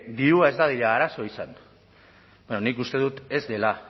dirua ez dadila arazo izan bueno nik uste dut ez dela